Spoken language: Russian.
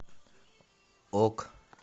ок